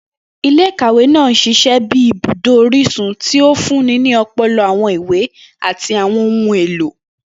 Ile-ikawe naa n ṣiṣẹ bi ibudo orisun, ti o funni ni ọpọlọpọ awọn iwe ati àwọn ohun elo.